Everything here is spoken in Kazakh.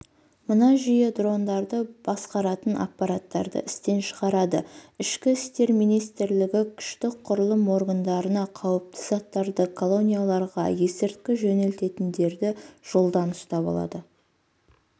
мына жүйе дрондарды басқаратын аппаратты істен шығарады ішкі істер министрлігі күштік құрылым органдарына қауіпті заттарды колонияларға есірткі жөнелтетіндерді жолдан ұстап алады